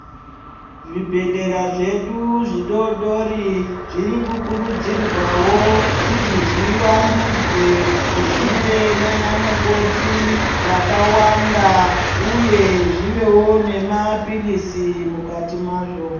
Zvibhedhlera zvedu zvidodori zviri kukurudzirwawo kuti zvivandudzwe zvive nana mukoti vakawanda uyewo zvivewo nemapirizi mukati mazvo.